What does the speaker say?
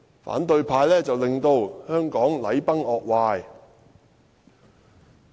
反對派令香港禮崩樂壞......